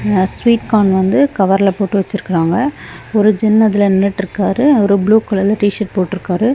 ஆ sweet corn வந்து கவர்லெப் போட்டு வச்சிருக்காங்க ஒரு ஜென் அதுல நின்னுட்டிருக்காரு அவரு ப்ளூ கலர்ல டி_ஷர்ட் போட்டிருக்காரு.